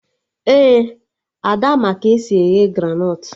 Ee, Ada ma ka esi eghe granọt